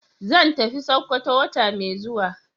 Zan tafi sokoto wata mai zuwa.